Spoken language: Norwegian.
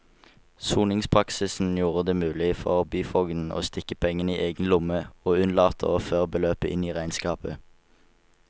Soningspraksisen gjorde det mulig for byfogden å stikke pengene i egen lomme og unnlate å føre beløpet inn i regnskapet.